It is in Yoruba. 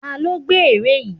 Ta ló gbẹ́ ère yìí?